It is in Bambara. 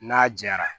N'a jara